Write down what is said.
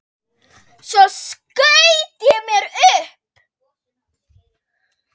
Svo skaut mér upp.